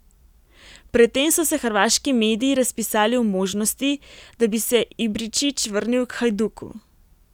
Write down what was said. Pred tem so se hrvaški mediji razpisali o možnosti, da bi se Ibričić vrnil k Hajduku.